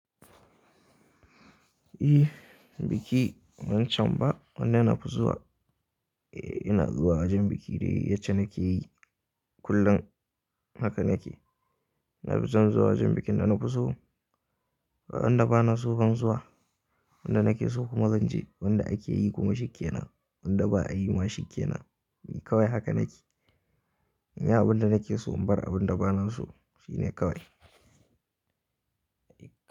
Eh, biki wancan ba wanda na fi zuwa. Eh ina zuwa wajen biki dai yacce nake yi kullum hakan nake. Na fi son zuwa wajen bikin da na fi so, ga wanda ba na son zuwa, wanda nake so kuma zan je, wanda ake yi kuma shike nan, wanda ba a yi ma shike nan, kawai haka nake. In yi abin da nake so in bar abin da ba na so shine kawai.